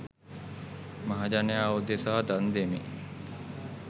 මහජනයා උදෙසා දන් දෙමි.